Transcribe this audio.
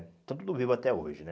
Estão tudo vivo até hoje, né?